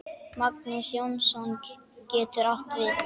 Magnús Jónsson getur átt við